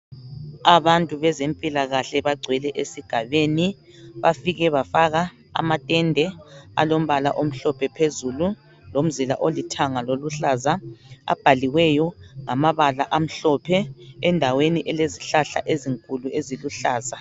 Abantu bezempilakahle bagcwele esigabeni bafike bafaka amatende alombala omhlophe phezulu lomzila olithanga loluhlaza abhaliweyo ngama bala amhlophe endaweni elezihlahla ezinkulu eziluhlaza.